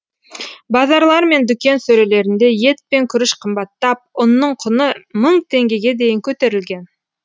базарлар мен дүкен сөрелерінде ет пен күріш қымбаттап ұнның құны мың теңгеге дейін көтерілген